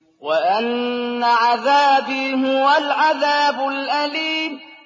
وَأَنَّ عَذَابِي هُوَ الْعَذَابُ الْأَلِيمُ